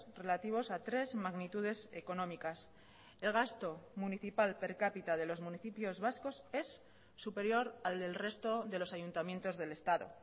relativos a tres magnitudes económicas el gasto municipal per capita de los municipios vascos es superior al del resto de los ayuntamientos del estado